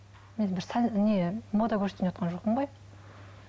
сән не мода көрсетейін деп жатқан жоқпын ғой